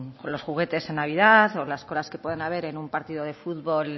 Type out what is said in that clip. los juguetes en navidad o las colas que puedan haber en un partido de fútbol